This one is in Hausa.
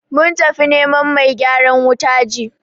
Mun tafi neman mai gyaran wuta ji.